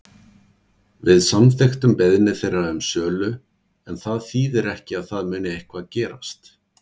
Við samþykktum beiðni þeirra um sölu en það þýðir ekki að það muni eitthvað gerast.